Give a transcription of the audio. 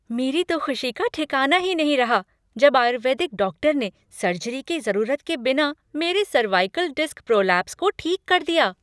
मेरी तो खुशी का ठिकाना ही नहीं रहा, जब आयुर्वेदिक डॉक्टर ने सर्जरी की ज़रूरत के बिना मेरे सर्वाइकल डिस्क प्रोलैप्स को ठीक कर दिया।